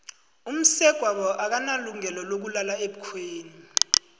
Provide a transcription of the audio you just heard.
umsegwabo akanalungelo lokulala ebukhweni